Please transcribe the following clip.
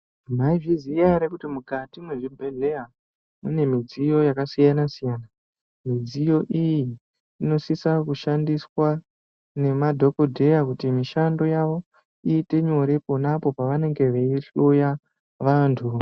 Mwaizviziya ere kuti mukati mwezvibhedhleya mune midziyo yakasiyana siyana, midziyo iyi inosisa kushandiswa nema dhokodheya kuti mishando yavo iite nyore ponapo pavanenge vei hloya vantu.